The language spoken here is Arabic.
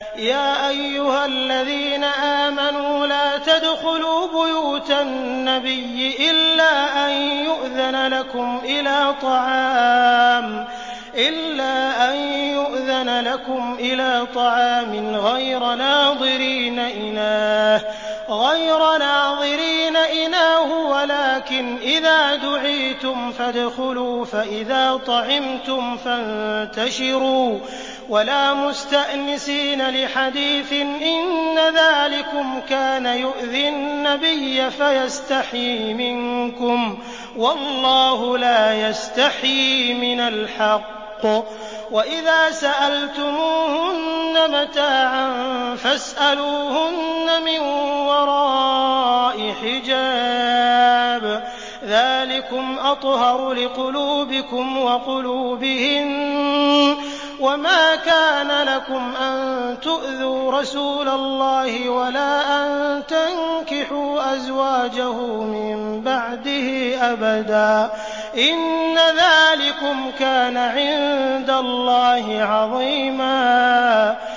يَا أَيُّهَا الَّذِينَ آمَنُوا لَا تَدْخُلُوا بُيُوتَ النَّبِيِّ إِلَّا أَن يُؤْذَنَ لَكُمْ إِلَىٰ طَعَامٍ غَيْرَ نَاظِرِينَ إِنَاهُ وَلَٰكِنْ إِذَا دُعِيتُمْ فَادْخُلُوا فَإِذَا طَعِمْتُمْ فَانتَشِرُوا وَلَا مُسْتَأْنِسِينَ لِحَدِيثٍ ۚ إِنَّ ذَٰلِكُمْ كَانَ يُؤْذِي النَّبِيَّ فَيَسْتَحْيِي مِنكُمْ ۖ وَاللَّهُ لَا يَسْتَحْيِي مِنَ الْحَقِّ ۚ وَإِذَا سَأَلْتُمُوهُنَّ مَتَاعًا فَاسْأَلُوهُنَّ مِن وَرَاءِ حِجَابٍ ۚ ذَٰلِكُمْ أَطْهَرُ لِقُلُوبِكُمْ وَقُلُوبِهِنَّ ۚ وَمَا كَانَ لَكُمْ أَن تُؤْذُوا رَسُولَ اللَّهِ وَلَا أَن تَنكِحُوا أَزْوَاجَهُ مِن بَعْدِهِ أَبَدًا ۚ إِنَّ ذَٰلِكُمْ كَانَ عِندَ اللَّهِ عَظِيمًا